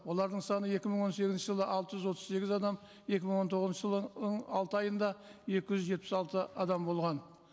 олардың саны екі мың он сегізінші жылы алты жүз отыз сегіз адам екі мың он тоғызыншы жылы алты айында екі жүз жетпіс алты адам болған